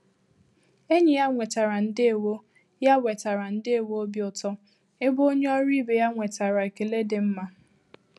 Enyi ya nwetara “ndewo" ya nwetara “ndewo" obi ụtọ, ebe onye ọrụ ibe ya nwetara ekele dị mma.